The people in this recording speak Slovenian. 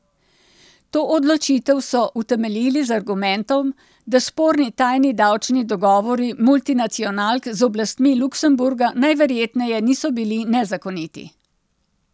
To odločitev so utemeljili z argumentom, da sporni tajni davčni dogovori multinacionalk z oblastmi Luksemburga najverjetneje niso bili nezakoniti.